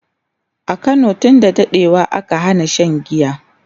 a Kano tun da daɗewa aka Hana Shan giya